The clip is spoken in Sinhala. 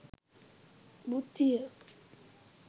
බුද්ධිය